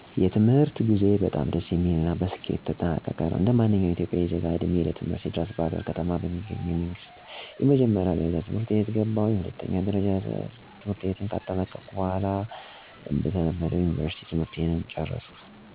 የትምህርት ጉዞዬ በጣም ደስ የሚል እና በስኬት የተጠናቀቀ ነው። እንደማንኛውም ኢትዮጵያዊ ዜጋ ዕድሜዬ ለትምህርት ሲደርስ በባህርዳር ከተማ ውስጥ ከሚገኙ የመንግስት የመጀመሪያ ደረጃ ትምህርት ቤት ገባሁኝ። በዚህ ትምህርት ቤት እስከ ስምንተኛ ክፍል የተማርኩ ሲሆን የደረጃ ተማሪም ነበርኩኝ። ስምንተኛ ክፍል ክልላዊ ፈተናም ጥሩ በሚባል ውጤት ያለፍኩ ሲሆን የሁለተኛ ደረጃ ትምህርቴን በተለየ ሁኔታ ከባጁ ሁለተኛ በመወጣት ጀመርኩኝ። ይህ ለኔ በጣም ትልቅ ስኬት ነበር። እንዲህ እንዲያ እያልኩ 10ኛ ክፍልም በጣም ጥሩ በሚባል ውጤት አለፍኩኝ። ነገር ግንጰ12ኛ የዩኒቨርስቲ መግቢያ ወጤት በተለያየ ምክንያት ሳላመጣ ብቀርም ጥሩ ኮሌጅ በመግባት የመጀመሪያ ዲግሪየ ለመማረክ በቅቻለሁ።